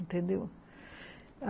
Entendeu?